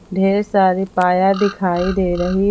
ढेर सारी पाया दिखाई दे रही है।